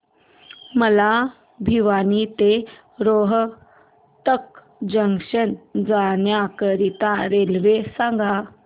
मला भिवानी ते रोहतक जंक्शन जाण्या करीता रेल्वे सांगा